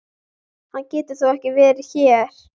Hann getur þó ekki verið hér!